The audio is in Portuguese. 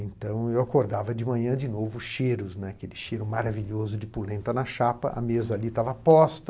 Então eu acordava de manhã, de novo, cheiros, né, aquele cheiro maravilhoso de polenta na chapa, a mesa ali estava posta.